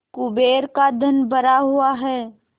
कुबेर का धन भरा हुआ है